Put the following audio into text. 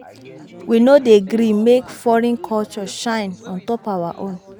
We no dey gree make foreign culture shine on top our own.